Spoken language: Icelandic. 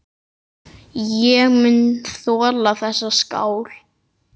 Ég mun þola þessa skál.